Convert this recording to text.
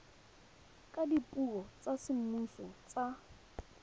ka dipuo tsa semmuso tsa